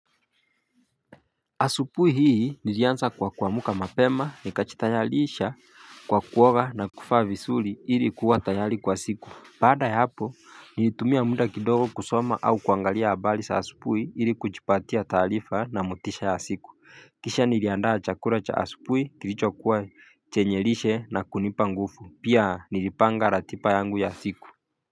Asupui hii nilianza kwa kwa muka mapema nikachitayalisha kwa kuoga na kufa visuli ili kuwa tayali kwa siku Paada yapo nilitumia muda kidogo kusoma au kuangalia abali sa asubui ili kujipatia talifa na motisha ya siku kisha niliandaa chakura cha asubui kilicho kuwa chenye lishe na kunipa nguvu pia nilipanga ratiba yangu ya siku.